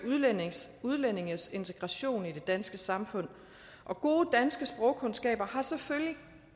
udlændinges integration i det danske samfund og gode danske sprogkundskaber har selvfølgelig